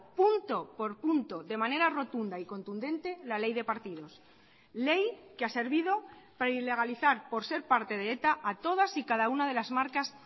punto por punto de manera rotunda y contundente la ley de partidos ley que ha servido para ilegalizar por ser parte de eta a todas y cada una de las marcas